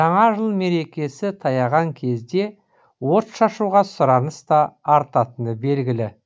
жаңа жыл мерекесі таяған кезде отшашуға сұраныс та артатыны белгілі